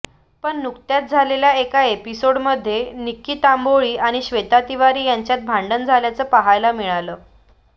पण नुकत्याच झालेल्या एका एपिसोडमध्ये निक्की तांबोळी आणि श्वेता तिवारी यांच्यात भांडण झाल्याचं पाहायला मिळालं